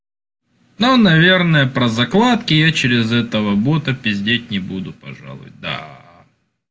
но наверное про закладки я через этого бота пиздеть не буду пожалуй да